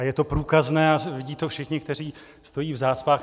A je to průkazné a vidí to všichni, co stojí v zácpách.